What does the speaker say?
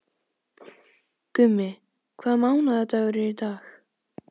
Gummi, hvaða mánaðardagur er í dag?